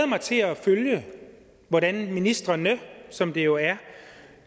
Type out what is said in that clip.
mig til at følge hvordan ministrene som det jo er